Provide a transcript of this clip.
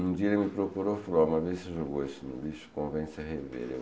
Um dia ele me procurou, falou, uma vez você jogou isso no lixo, convence a rever.